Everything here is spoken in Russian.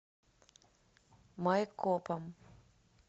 майкопом